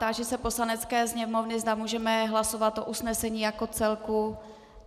Táži se Poslanecké sněmovny, zda můžeme hlasovat o usnesení jako celku.